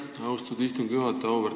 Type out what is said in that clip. Aitäh, austatud istungi juhataja!